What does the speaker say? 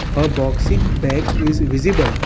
a boxing bag is visible.